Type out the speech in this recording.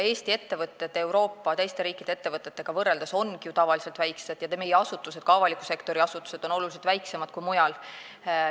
Eesti ettevõtted on Euroopa teiste riikide ettevõtetega võrreldes ju tavaliselt väiksed ja meie asutused, ka avaliku sektori asutused, on oluliselt väiksemad kui mujal.